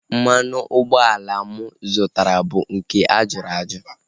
Mmanụ ụgbọala mụ zụtara bụ nke a jụrụ ajụ